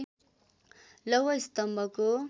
लौह स्तम्भको